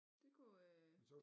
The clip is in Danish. Det kunne øh